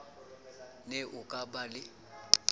ne ho ka ba le